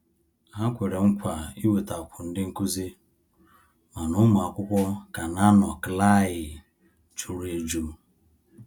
Ha kwere nkwa iwetakwu ndị nkuzi, mana ụmụ akwụkwọ ka na -anọ klaaai jụrụ ejụ.